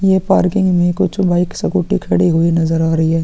ये पार्किंग में कुछ बाइक सकूटी खड़ी हुई नजर आ रही हैं।